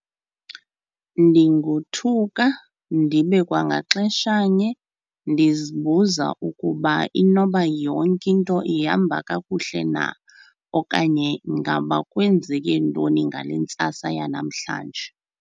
Ndingothuka ndibe kwangaxeshanye ndizibuza ukuba inoba yonke into ihamba kakuhle na okanye ngaba kwenzeke ntoni ngale ntsasa yanamhlanje.